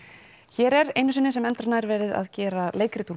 hér er einu sinni sem endranær verið að gera leikrit